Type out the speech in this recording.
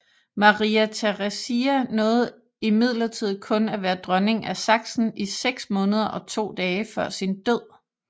Maria Theresia nåede imidlertid kun at være dronning af Sachsen i seks måneder og to dage før sin død